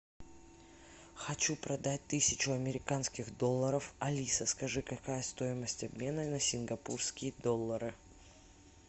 хочу продать тысячу американских долларов алиса скажи какая стоимость обмена на сингапурские доллары